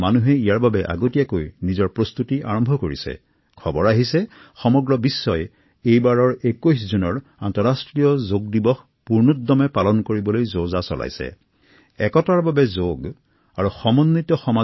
কিয়নো ২১ জুনত বিশ্বজুৰি উদযাপিত হয় আন্তঃৰাষ্ট্ৰীয় যোগ দিৱস আৰু এমাহ পূৰ্বৰে পৰা বিশ্বৰ বিভিন্ন প্ৰান্তৰ লোকে ইয়াৰ প্ৰস্তুতি আৰম্ভ কৰে